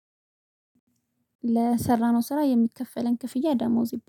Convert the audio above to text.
ለሰራነው ስራ የሚከፈለን ክፍያ ደሞዝ